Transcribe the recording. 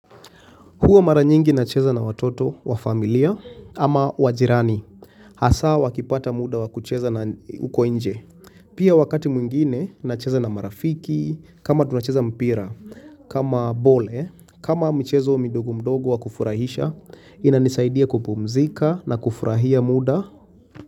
Huwa mara nyingi nacheza na watoto wa familia ama wa jirani. Hasa wakipata muda wa kucheza na uko nje. Pia wakati mwingine nacheza na marafiki, kama tunacheza mpira, kama ball, kama michezo midogo mdogo wa kufurahisha, inanisaidia kupumzika na kufurahia muda.